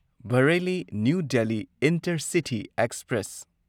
Bareilly new Delhi intercity express